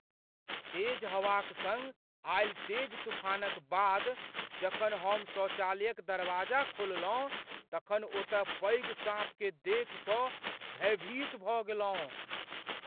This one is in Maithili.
तेज हवाक सङ्ग आयल तेज तूफानक बाद जखन हम शौचालयक दरवाजा खोललहुँ तखन ओतय पैघ साँपकेँ देखि कऽ भयभीत भऽ गेलहुँ।